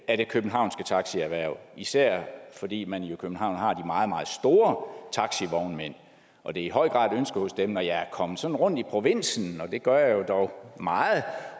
af det københavnske taxierhverv især fordi man jo i københavn har de meget meget store taxivognmænd og det er i høj grad et ønske hos dem når jeg er kommet sådan rundt i provinsen og det gør jeg jo dog meget